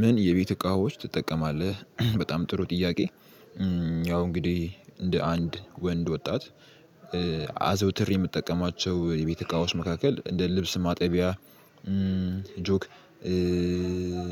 ምን የቤት እቃዎች ትጠቀማለህ በጣም ጥሩ ጥያቄ? ያው እንግዲህ እንደ አንድ ወንድ ወጣት። አዘውትር የምጠቀማቸው የቤተ እቃዎች መካከል እንደ ልብስ ማጠቢያ። ጆክ